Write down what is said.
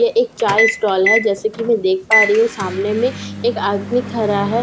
यह एक चाय स्टाल है जैसे कि मैं देख पा रही हूं सामने में एक आदमी खड़ा है ।